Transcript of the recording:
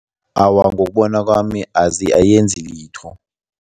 Awa, ngokubona kwami ayenzi litho.